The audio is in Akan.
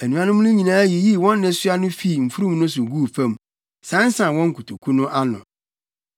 Anuanom no nyinaa yiyii wɔn nnesoa no fii mfurum no so guu fam, sansan wɔn nkotoku no ano.